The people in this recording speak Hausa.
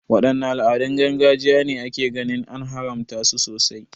Wadanne al'adun gargajiya ne ake ganin an haramta su sosai?